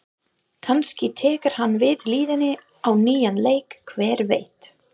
Kannski tekur hann við liðinu á nýjan leik, hver veit?